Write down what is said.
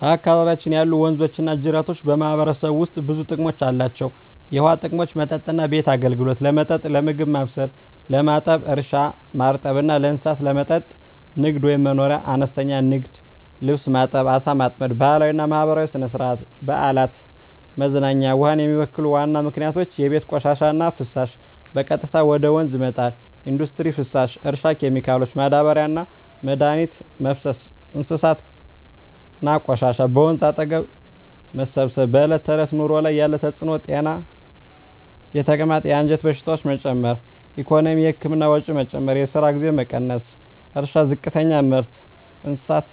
በአካባቢያችን ያሉ ወንዞችና ጅረቶች በማህበረሰቡ ውስጥ ብዙ ጥቅሞች አላቸው፣ የውሃ ጥቅሞች መጠጥና ቤት አገልግሎት – ለመጠጥ፣ ለምግብ ማብሰል፣ ለማጠብ እርሻ – ማርጠብ እና ለእንስሳት መጠጥ ንግድ/መኖርያ – አነስተኛ ንግድ (ልብስ ማጠብ፣ ዓሣ ማጥመድ) ባህላዊና ማህበራዊ – ሥነ-ሥርዓት፣ በዓላት፣ መዝናኛ ውሃን የሚበክሉ ዋና ምክንያቶች የቤት ቆሻሻና ፍሳሽ – በቀጥታ ወደ ወንዝ መጣል ኢንዱስትሪ ፍሳሽ – እርሻ ኬሚካሎች – ማዳበሪያና መድኃኒት መፍሰስ እንስሳት ቆሻሻ – በወንዝ አጠገብ መሰብሰብ በዕለት ተዕለት ኑሮ ላይ ያለ ተጽዕኖ ጤና – የተቅማጥ፣ የአንጀት በሽታዎች መጨመር ኢኮኖሚ – የህክምና ወጪ መጨመር፣ የስራ ጊዜ መቀነስ እርሻ – ዝቅተኛ ምርት፣ እንስሳት